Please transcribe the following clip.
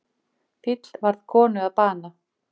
Fíll varð konu að bana